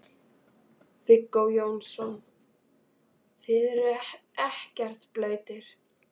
Viggó Jónsson: Þið eruð ekkert blautir?